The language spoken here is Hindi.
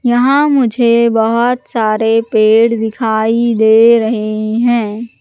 यहां मुझे बहुत सारे पेड़ दिखाई दे रहे हैं।